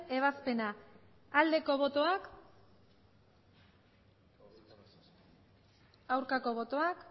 ebazpena aldeko botoak aurkako botoak